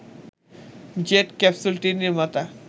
jet ক্যাপসুলটির নির্মাতা